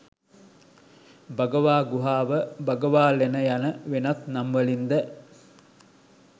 භගවා ගුහාව, භගවාලෙන යන වෙනත් නම් වලින් ද